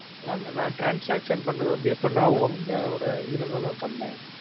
அதான் ma'am நான் transaction பண்ணது வந்து எப்படின்னா உங்களோட இதுல தான் ma'am பண்ணுணேன்.